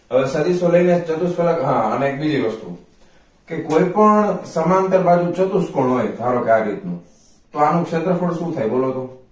હવે સદિશો લઇ ને ચતુઃ ફલક અને હા એક બીજી વસ્તુ કે કોઈ પણ સમાંતર બાજુ ચતુઃ ફળ હોઈ ધારોકે આવી રીતનું તો આનું ક્ષેત્રફળ શું થાઈ બોલો તો